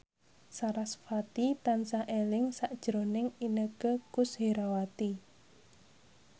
sarasvati tansah eling sakjroning Inneke Koesherawati